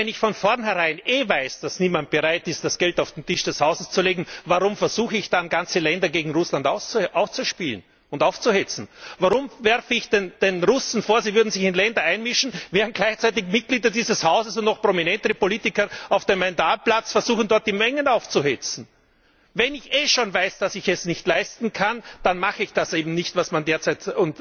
Nur, wenn ich von vornherein eh weiß, dass niemand bereit ist, das Geld auf den Tisch des Hauses zu legen, warum versuche ich dann, ganze Länder gegen Russland auszuspielen und aufzuhetzen? Warum werfe ich den Russen vor, sie würden sich in Ländern einmischen, während gleichzeitig Mitglieder dieses Hauses und noch prominentere Politiker auf dem Majdan Platz versuchen, dort die Mengen aufzuhetzen? Wenn ich eh schon weiß, dass ich es nicht leisten kann, dann mache ich das eben nicht, was man derzeit